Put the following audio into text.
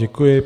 Děkuji.